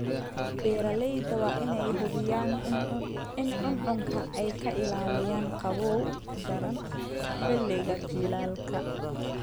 Beeralayda waa in ay hubiyaan in cuncunka ay ka ilaalinayaan qabow daran xilliga jiilaalka.